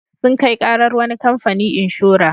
Sun kai ƙarar wani kamfani inshora.